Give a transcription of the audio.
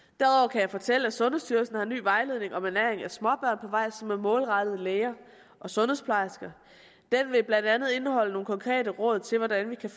jeg fortælle at sundhedsstyrelsen har en ny vejledning om ernæring af småbørn på vej som er målrettet læger og sundhedsplejersker den vil blandt andet indeholde nogle konkrete råd til hvordan vi kan